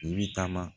I bi taama